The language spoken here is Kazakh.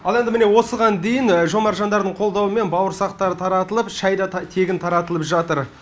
ал енді міне осыған дейін жомарт жандардың қолдауымен бауырсақтар таратылып шайда тегін таратылып жаытр